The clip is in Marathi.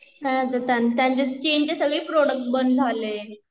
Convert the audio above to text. त्यांचे चीन ची सगळी प्रोडक्ट बंद झाले